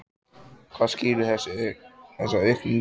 Hvað skýrir þessa aukningu?